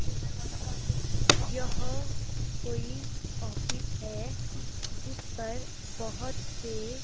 यह कोई ऑफिस है जिस पर बहोत से--